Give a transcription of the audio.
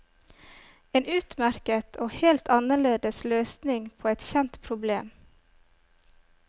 En utmerket og helt annerledes løsning på et kjent problem.